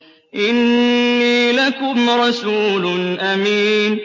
إِنِّي لَكُمْ رَسُولٌ أَمِينٌ